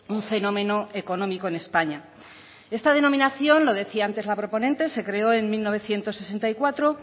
un fenómeno económico en españa esta denominación lo decía antes la proponente se creó en mil novecientos sesenta y cuatro